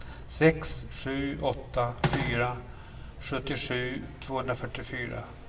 sex sju åtta fyra sjuttiosju tvåhundrafyrtiofyra